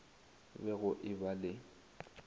be go e ba le